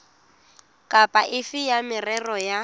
kapa efe ya merero ya